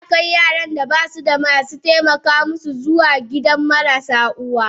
Ana kai Yaran da basu da masu taimaka masu zuwa gidan marasu uwa.